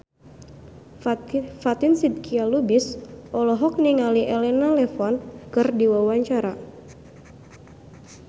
Fatin Shidqia Lubis olohok ningali Elena Levon keur diwawancara